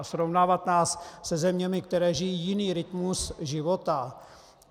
A srovnávat nás se zeměmi, které žijí jiný rytmus života?